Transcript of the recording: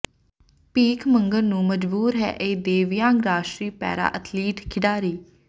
ਭੀਖ ਮੰਗਣ ਨੂੰ ਮਜਬੂਰ ਹੈ ਇਹ ਦਿਵਯਾਂਗ ਰਾਸ਼ਟਰੀ ਪੈਰਾ ਅਥਲੀਟ ਖਿਡਾਰੀ